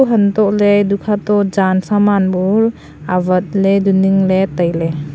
hantoh le edu kha to jan saman bu awat ley edu ning ley tailey.